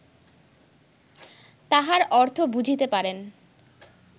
তাহার অর্থ বুঝিতে পারেন